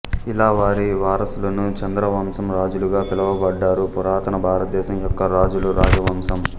ఇలా వారి వారసులను చంద్రవంశం రాజులు గా పిలువబడ్డారు పురాతన భారతదేశం యొక్క రాజుల రాజవంశం